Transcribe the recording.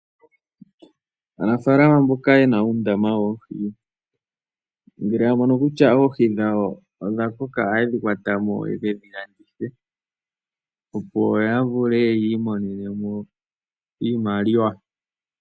Aanafalama mboka yena uundama woohi ngele ya mono kutya oohi dhawo odha koka ohaye dhi kutha mo ye kedhi landithe opo yi imonene mo iiyemo.